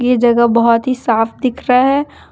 ये जगह बहोत ही साफ दिख रहा है।